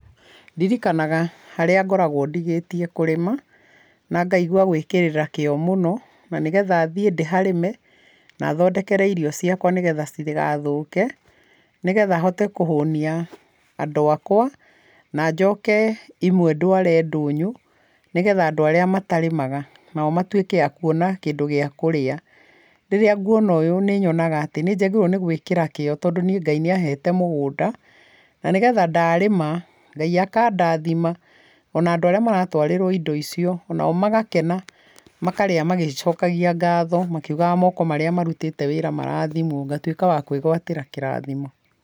Ndirikanaga harĩa ngoragwa ndigĩtie kũrĩma, na ngaigua gwĩkĩrĩra kĩo mũno na nĩgetha thiĩ ndĩharĩme na thondekere irio ciakwa nĩgetha citikathũke, nĩgetha hote kũhũnia andũ akwa na njoke iwe ndware ndũnyũ nĩgetha andũ arĩa matarĩmaga nao matuĩke makwona kĩndũ kĩa kũrĩa. Rĩrĩa ngwina ũyũ nĩnyonaga atĩ nĩnjagĩrĩrwo gwĩkĩra kĩo tondũ Ngai nĩahete mũgũnda, na nĩgetha ndarĩma Ngai akandathima ona andũ arĩa maratwarĩrwa indo icio onao magakena, makarĩa magĩcokagia ngatho ,makĩũgaga moko marĩa marũtĩte wĩra marathimwo ngatũĩka wakwĩgwatĩra kĩrathimo.